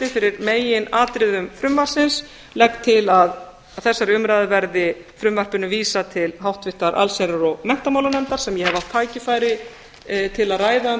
fyrir meginatriðum frumvarpsins legg til að að þessari umræðu lokinni verði frumvarpinu vísað til háttvirtrar allsherjar og menntamálanefndar sem ég hef átt tækifæri til að ræða um